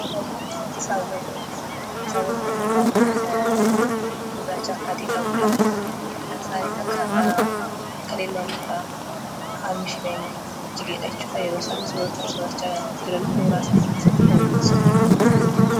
Fakkiin saawwanii saawwanii bifni isaanii gurraachaa fi adii qabudha. Saani tokko kan elmamtudha harmi ishee kan inni jigedha yeroo isaan soorachaa jiran mooraa isaanii keessatti kan mul'isudha.